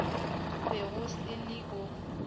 be go se le o